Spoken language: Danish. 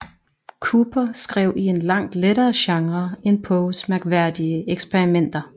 Cooper skrev i en langt lettere genre end Poes mærkværdige eksperimenter